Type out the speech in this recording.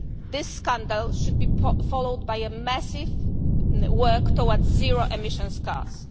to change. This scandal should be followed by a massive work towards zero